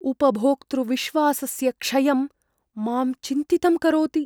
उपभोक्तृविश्वासस्य क्षयं मां चिन्तितं करोति।